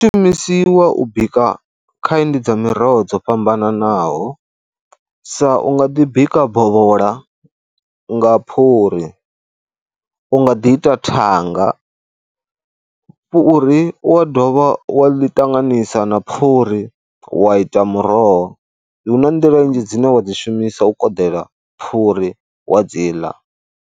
Shumisiwa u bika kind dza miroho dzo fhambananaho sa, u nga ḓi bika bovhola nga phuri, u nga ḓi ita thanga. Fhuri u wa dovha wa ḽi tanganisa na phuri wa ita muroho. Hu na nḓila nnzhi dzine wa dzi shumisa u koḓela phuri wa dzi ḽa.